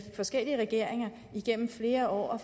forskellige regeringer igennem flere år